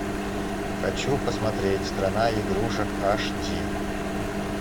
хочу посмотреть страна игрушек аш ди